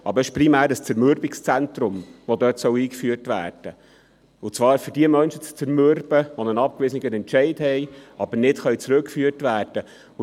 Es ist aber primär ein Zermürbungszentrum, das dort eingeführt werden soll, und zwar, um jene Menschen zu zermürben, die einen abgewiesenen Entscheid haben, aber nicht zurückgeführt werden können.